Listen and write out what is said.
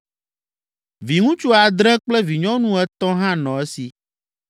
Viŋutsu adre kple vinyɔnu etɔ̃ hã nɔ esi.